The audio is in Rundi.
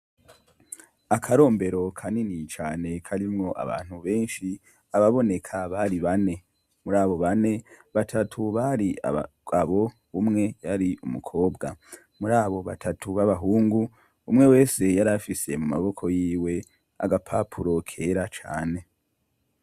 Akarombero kanini cane karimwo abantu baraboneka bari bane. Batatu bari abagabo, umwe yari umukobwa. Muri abo batatu b'abahungu, umwe wese yarafise mu maboko yiwe agapapuro kera cane.